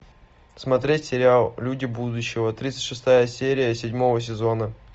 смотреть сериал люди будущего тридцать шестая серия седьмого сезона